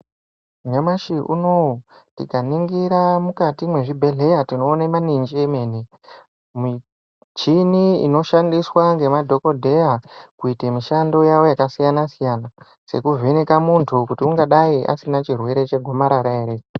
Nyamashi unowu tikaningira mukati mwezvibhehleya tinoona maningi emene. Michini inoshandiswa ngemadhokodheya kuite mishando yavo yakasiyana-siyana sekuvheneka muntu kuti ungadai asina chirwere chegomarara ere.